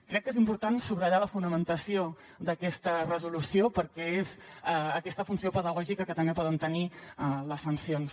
crec que és important subratllar la fonamentació d’aquesta resolució perquè és aquesta funció pedagògica que també poden tenir les sancions